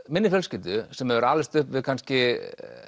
minni fjölskyldu sem hefur alist upp við kannski